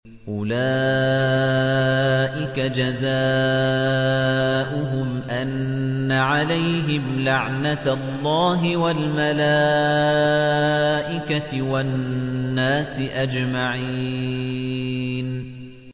أُولَٰئِكَ جَزَاؤُهُمْ أَنَّ عَلَيْهِمْ لَعْنَةَ اللَّهِ وَالْمَلَائِكَةِ وَالنَّاسِ أَجْمَعِينَ